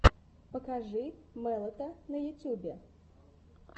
покажи мэлэта на ютьюбе